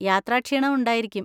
യാത്രാക്ഷീണമുണ്ടായിരിക്കും.